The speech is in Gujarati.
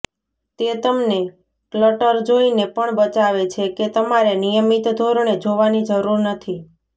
તે તમને ક્લટર જોઈને પણ બચાવે છે કે તમારે નિયમિત ધોરણે જોવાની જરૂર નથી